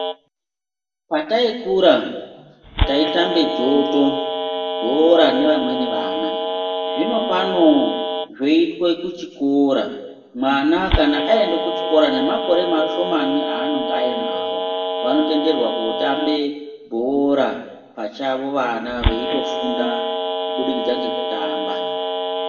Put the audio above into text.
Pata ikurudziro taitambe dzoto, bhora nevamweni vana. Zvino pane zvoitwe kuchikora. Mwana kana aenda kuchikora nemakore mashomani aanonga ainawo, vanotenderwa kotambe bhora pachavo vana veitofunda kubudikidza ngekutamba.